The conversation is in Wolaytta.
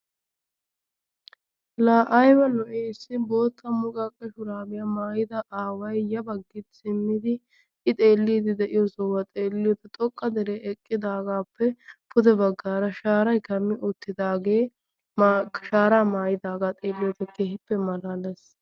La aybba lo''i issi bootta muqqaqe shurabiya maayida aaway ya baggi simmidi I xeellidi de'iyo sohuwa xeelliyode xoqqa dere eqqidaagappe pude baggaara shaaray kammi uttidaage shaara maayyidaaga xeelliyode keehippe malaalees.